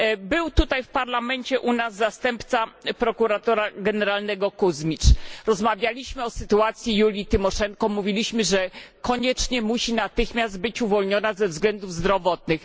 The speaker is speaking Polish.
Był tutaj u nas w Parlamencie zastępca prokuratora generalnego Kuźmicz, rozmawialiśmy o sytuacji Julii Tymoszenko, mówiliśmy, że koniecznie musi być natychmiast uwolniona ze względów zdrowotnych.